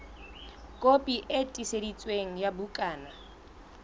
kopi e tiiseditsweng ya bukana